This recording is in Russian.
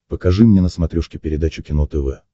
покажи мне на смотрешке передачу кино тв